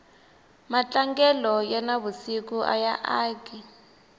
matlangelo ya na vusiku aya aki